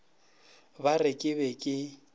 ba re ke be ke